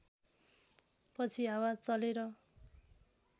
पछि हावा चलेर